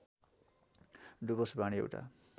डुवर्स वाणी एउटा